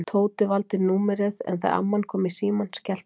Tóti valdi númerið en þegar amman kom í símann skellti hann á.